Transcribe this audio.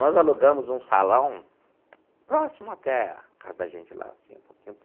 Nós alugamos um salão próximo até a casa da gente lá assim um pouquinho.